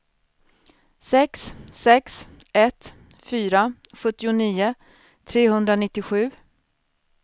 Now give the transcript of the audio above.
sex sex ett fyra sjuttionio trehundranittiosju